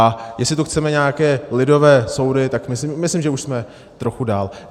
A jestli tu chceme nějaké lidové soudy, tak myslím, že už jsme trochu dál.